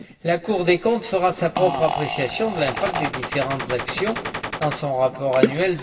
La Cour des comptes fera sa propre appréciation de l'impact des différentes actions dans son rapport annuel